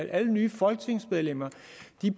alle nye folketingsmedlemmer